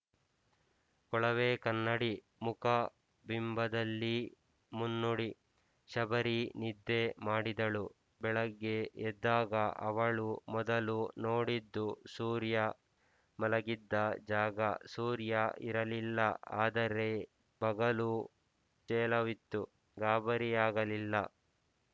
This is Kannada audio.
ಕೊಳವೇ ಕನ್ನಡಿ ಮುಖ ಬಿಂಬದಲ್ಲಿ ಮುನ್ನುಡಿ ಶಬರಿ ನಿದ್ದೆ ಮಾಡಿದಳು ಬೆಳಗ್ಗೆ ಎದ್ದಾಗ ಅವಳು ಮೊದಲು ನೋಡಿದ್ದುಸೂರ್ಯ ಮಲಗಿದ್ದ ಜಾಗ ಸೂರ್ಯ ಇರಲಿಲ್ಲ ಆದರೆ ಬಗಲು ತೇಲವಿತ್ತು ಗಾಬರಿಯಾಗಲಿಲ್ಲ